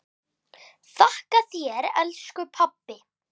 Þakka þér elsku pabbi.